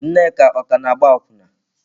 Nneka ọ ka na-agba akwụna?